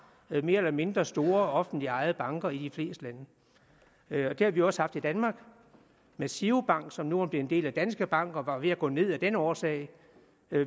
mere eller mindre store offentligt ejede banker i de fleste lande og det har vi også haft i danmark med girobank som nu er en del af danske bank og var ved at gå ned af den årsag